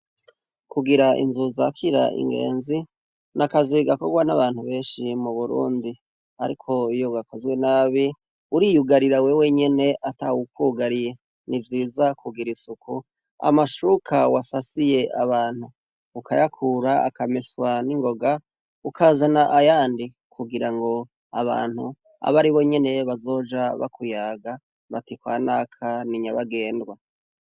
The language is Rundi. Kugira inzu zakira ingenzi n'akazi gakorwa n'abantu benshi mu Burundi, ariko iyo gakozwe nabi uriyugarira wewe nyene ata wukugariye, ni vyiza kugira isuku amashuka wasasiye abantu ukayakura akameswa n'ingoga ukazana ayandi kugira ngo abantu abe aribo nyene bazoja bakuyaga bati kwa naka ni nyabagendwa.